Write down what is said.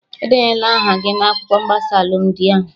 Edenyena aha gị na akwụkwọ mgbasa alụmdi ahụ!